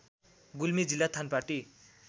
गुल्मी जिल्ला थानपाटी